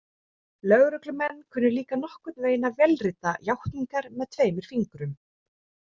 Lögreglumenn kunnu líka nokkurn veginn að vélrita játningarnar með tveimur fingrum.